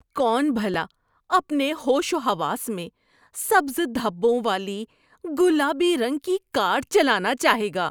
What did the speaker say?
کون بھلا اپنے ہوش و حواس میں سبز دھبوں والی گلابی رنگ کی کار چلانا چاہے گا؟